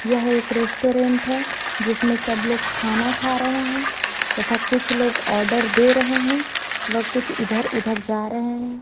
यह एक रेस्टोरेंट है जिसमे सब लोग खाना खा रहे है तथा कुछ लोग ऑर्डर दे रहे है व कुछ इधर उधर जा रहे है।